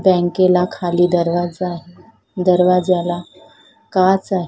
बँकेला खाली दरवाजा दरवाजाला काच आहे.